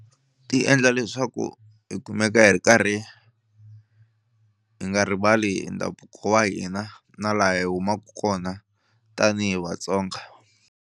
Ti endla leswaku hi kumeka hi ri karhi hi nga rivali ndhavuko wa hina na laha hi humaku kona tanihi Vatsonga.